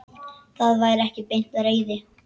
Það var ekki beint reiði.